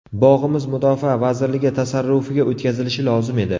Bog‘imiz Mudofaa vazirligi tasarrufiga o‘tkazilishi lozim edi.